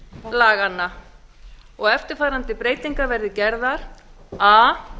laganna og eftirfarandi breytingar verði gerðar a